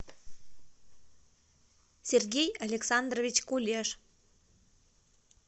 сергей александрович кулеш